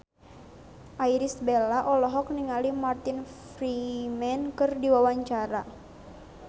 Irish Bella olohok ningali Martin Freeman keur diwawancara